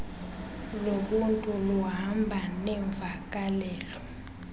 lobuntu luhamba neemvakalelo